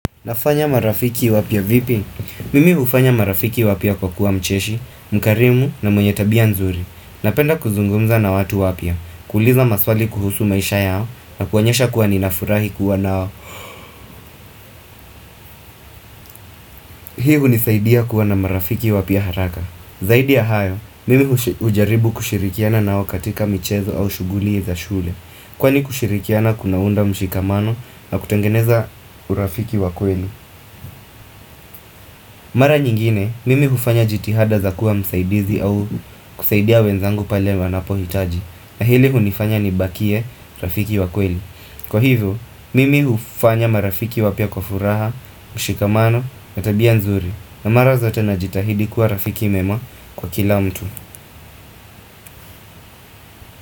Nafanya marafiki wapya vipi? Mimi hufanya marafiki wapya kwa kuwa mcheshi, mkarimu na mwenye tabia nzuri. Napenda kuzungumza na watu wapya, kuuliza maswali kuhusu maisha yao na kuonyesha kuwa ninafurahi kuwa nao. Hii hunisaidia kuwa na marafiki wapya haraka. Zaidi ya hayo, mimi hujaribu kushirikiana nao katika michezo au shuguli za shule. Kwa ni kushirikiana kunaunda mshikamano na kutengeneza urafiki wakweli. Mara nyingine, mimi hufanya jitihada za kuwa msaidizi au kusaidia wenzangu pale wanapo hitaji na hili hunifanya nibakie rafiki wakweli Kwa hivyo, mimi hufanya marafiki wapya kwa furaha, mshikamano, na tabia nzuri na mara zote najitahidi kuwa rafiki mwema kwa kila mtu.